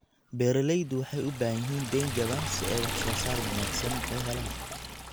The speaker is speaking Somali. Beeralayda waxay u baahan yihiin deyn jaban si ay wax soo saar wanaagsan u helaan.